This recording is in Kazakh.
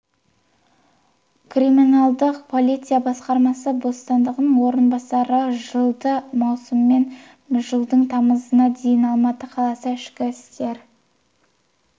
криминалдық полиция басқармасы бастығының орынбасары жылдың маусымы мен жылдың тамызына дейін алматы қаласы ішкі істер